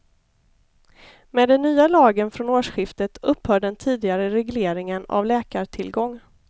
Med den nya lagen från årsskiftet upphör den tidigare regleringen av läkartillgång.